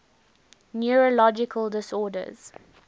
neurological disorders